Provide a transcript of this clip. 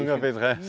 Nunca fez reza?